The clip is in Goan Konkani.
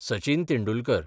सचीन तेंडुलकर